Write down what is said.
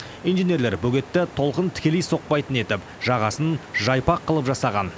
инженерлер бөгетті толқын тікелей соқпайтын етіп жағасын жайпақ қылып жасаған